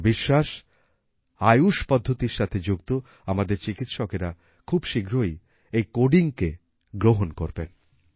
আমার বিশ্বাস আয়ুশ পদ্ধতীর সাথে যুক্ত আমাদের চিকিৎসকেরা খুব শীঘ্রই এই codingকে গ্রহণ করবেন